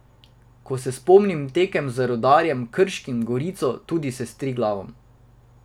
Ko se spomnim tekem z Rudarjem, Krškim, Gorico, tudi s Triglavom ...